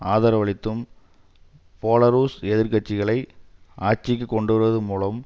ஆதரவளித்தும் Belarus எதிர் கட்சிகளை ஆட்சிக்கு கொண்டு வருவது மூலம்